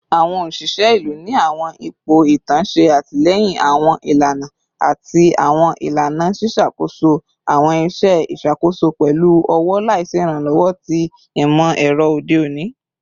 Awọn oṣiṣẹ ilu ni awọn ipo itan ṣe atilẹyin awọn ilana ati awọn ilana, ṣiṣakoso awọn iṣẹ iṣakoso pẹlu ọwọ laisi iranlọwọ ti imọ-ẹrọ ode oni.